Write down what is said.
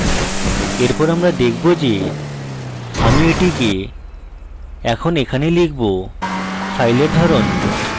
এরপর আমরা দেখব theআমি এটিকে এখন এখানে লিখবfile ধরণ